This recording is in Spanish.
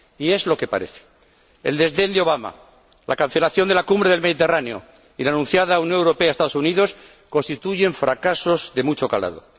Y es lo que parece el desdén de Obama, la cancelación de la cumbre del Mediterráneo y de la anunciada entre la Unión Europea y los Estados Unidos, constituyen fracasos de mucho calado.